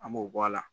An b'o bɔ a la